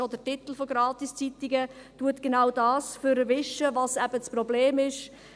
Schon nur der Titel von Gratis-Zeitungen verwischt genau das, was das Problem ist.